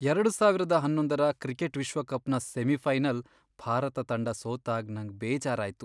ಎರಡು ಸಾವಿರದ ಹನ್ನೊಂದರ ಕ್ರಿಕೆಟ್ ವಿಶ್ವಕಪ್ನ ಸೆಮಿಫೈನಲ್ ಭಾರತ ತಂಡ ಸೋತಾಗ್ ನಂಗ್ ಬೇಜಾರ್ ಆಯ್ತು.